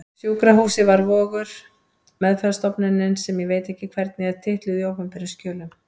Sjúkrahúsið var Vogur, meðferðarstofnunin sem ég veit ekki hvernig er titluð í opinberum skjölum.